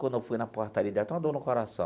Quando eu fui na portaria, deu até uma dor no coração.